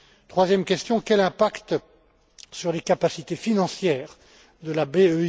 Troisième question quel est l'impact sur les capacités financières de la BEI?